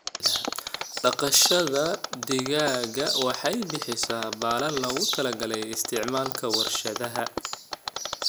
Dhaqashada digaaga waxay bixisaa baalal loogu talagalay isticmaalka warshadaha.